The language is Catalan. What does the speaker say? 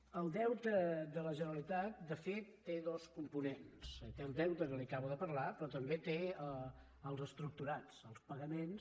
el deute de la generalitat de fet té dos components té el deute que li acabo de parlar però també els estructurats els pagaments